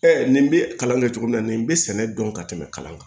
nin bɛ kalan kɛ cogo min na nin bɛ sɛnɛ dɔn ka tɛmɛ kalan kan